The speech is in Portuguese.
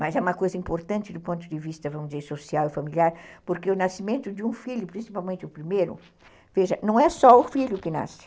Mas é uma coisa importante do ponto de vista, vamos dizer, social e familiar, porque o nascimento de um filho, principalmente o primeiro, veja, não é só o filho que nasce,